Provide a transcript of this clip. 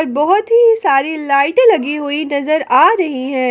बहुत ही सारी लाइट लगी हुई नजर आ रही है।